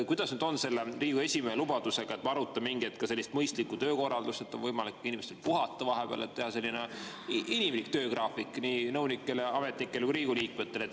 Kuidas on selle Riigikogu esimehe lubadusega, et arutada mingi hetk sellist mõistlikku töökorraldust, et inimestel oleks võimalik vahepeal puhata, teha inimlik töögraafik nii nõunikele, ametnikele kui ka Riigikogu liikmetele.